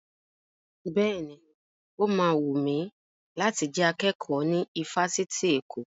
Bẹ́ẹ̀ni, ó ma wùn mi láti jẹ akẹ́kọ̀ọ́ ní ifásitì Èkó